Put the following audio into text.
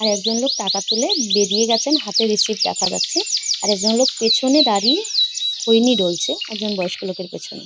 আর একজন লোক টাকা তুলে বেরিয়ে গেছে হাতে রিসিভ দেখা যাচ্ছে। আর একজন লোক পেছনে দাঁড়িয়ে খৈনি ডলছে। একজন বয়স্ক লোকের পেছনে।